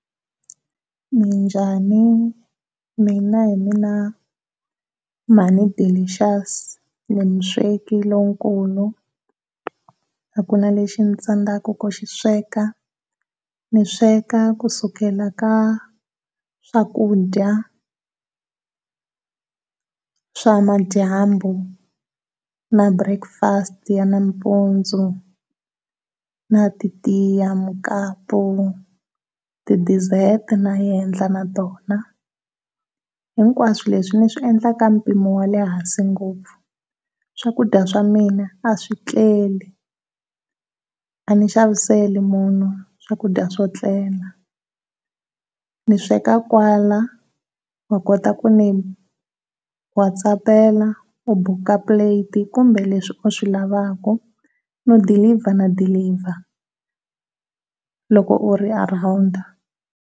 Minjhani mina hi mina mhani Delicious ndzi musweki lowukulu a ku na leswi swi ndzi tsandzaka ku swi sweka, ndzi sweka kusukela ka swakudya ka swa madyambu, na breakfast ya nampundzu, na ti tiya, mukapu, ti dedert na endla na tona. Hinkwaswo leswi ndzi swi endla ka mpimo wa lehansi ngopfu, swakudya swa mina a swi tleli a ndzi xaviseli munhu swakudya swo tlela. Ndzi sweka kwala ndzi kota ku mi watsapela u book plate kumbe leswi u swi lavaka no deliver na deliver loko u ri around.